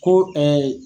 Ko